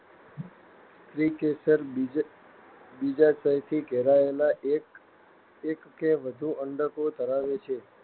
સ્ત્રીકેસર બીજાશયથી ઘેરાયેલા એક કે વધુ અંડકો ધરાવે છે.